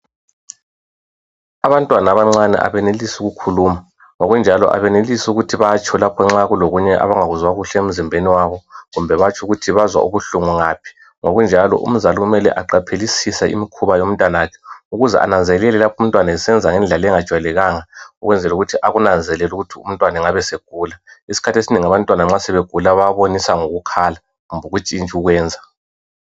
Abantwana abancane abenelisi ukukhuluma, ngokunjalo abenelisi ukuthi batsho lapho nxa kulokunye abangakuzwa kuhle emzimbeni yabo, kumbe batsho ukuthi bazwa ubuhlungu ngaphi. Ngokunjalo umzali kumele ukuthi aqaphelisise imkhuba yomntanakhe, ukuze abanzelele lapho umntwana esenza ngendlela engajwayelekanga , ukwenzela ukuthi akunanzelele ukuthi umntwana engabe esegula. Isikhathi esinengi abantwana nxa sebegula bayabonisa ngokukhala kumbe ukuntshintsha ukwenza.